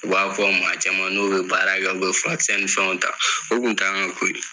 U b'a fɔ maa caman n'o be baara kɛ u be furakisɛ ni fɛnw ta o kun t'an ka ko ye